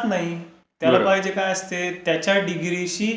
तो तिथे जात नाही. त्याला पाहिजे काय असते त्याच्या डिग्रीशी